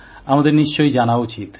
আমাদের নিশ্চয়ই জানা উচিত